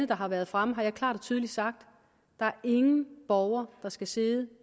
der har været fremme har jeg klart og tydeligt sagt der er ingen borger der skal sidde